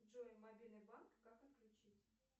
джой мобильный банк как отключить